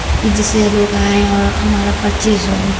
की जिससे यह लोग आए और हमारा परचेज हो--